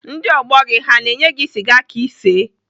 Ndị ọgbọ gị ha na-enye gị sịga ka isee?